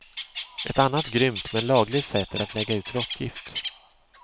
Ett annat grymt men lagligt sätt är att lägga ut råttgift.